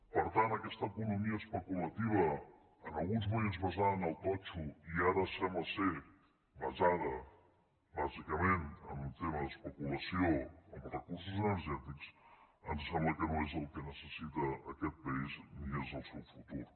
per tant aquesta economia especulativa en alguns moments basada en el totxo i ara sembla que basada bàsicament en un tema d’especulació amb els recursos energètics ens sembla que no és el que necessita aquest país ni és el seu futur